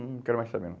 Não quero mais saber.